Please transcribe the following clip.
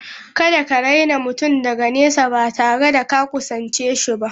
Kada ka raina mutum daga nesa ba tare da ka kusance shi ba.